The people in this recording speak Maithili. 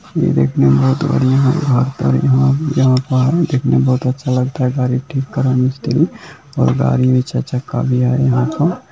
यह देखने में बोहोत बढ़िया लग रहा है और यहाँ पर दिखने में बोहोत अच्छा लगता है और गाड़ी ठीक कर रहा है मिस्त्री | और गाड़ी चार-चक्का भी है यहाँ पर|